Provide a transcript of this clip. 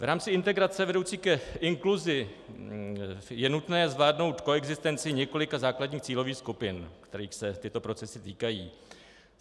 V rámci integrace vedoucí k inkluzi je nutné zvládnout koexistenci několika základních cílových skupin, kterých se tyto procesy týkají.